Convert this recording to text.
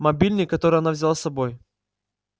мобильный который она взяла с собой